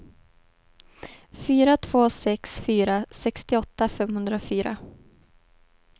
fyra två sex fyra sextioåtta femhundrafyra